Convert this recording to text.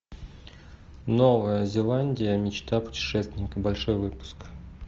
новая зеландия мечта путешественника большой выпуск